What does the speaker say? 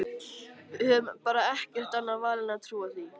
Við höfum bara ekkert annað val en að trúa því.